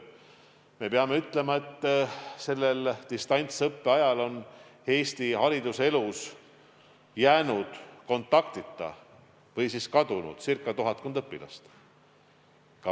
Me peame ütlema, et sellel distantsõppe ajal on Eesti hariduselus jäänud kontaktita või siis kadunud circa tuhat õpilast.